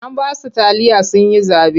An ba su taliya sun yi zaɓe.